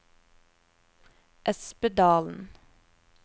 Espedalen